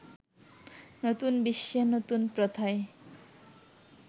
নতুন বিশ্বে নতুন প্রথায়